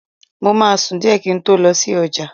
Mo máa sùn díẹ̀ kí n tó lọ sí ọjà